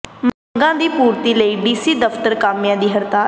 ਮੰਗਾਂ ਦੀ ਪੂਰਤੀ ਲਈ ਡੀਸੀ ਦਫ਼ਤਰ ਕਾਮਿਆਂ ਦੀ ਹੜਤਾਲ